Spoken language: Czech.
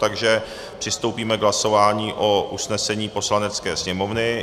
Takže přistoupíme k hlasování o usnesení Poslanecké sněmovny.